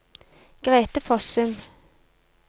Grete Fossum